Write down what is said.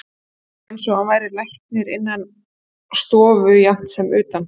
Það var eins og hann væri læknir innan stofu jafnt sem utan.